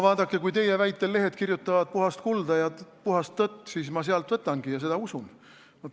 Vaadake, kui teie väitel lehed kirjutavad puhast kulda ja puhast tõtt, siis ma sealt võtangi ja seda ma usun.